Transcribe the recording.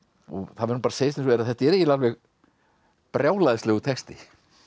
það verður að segjast eins og er að þetta er brjálæðislegur texti